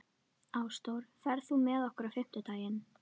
Ásdór, ferð þú með okkur á miðvikudaginn?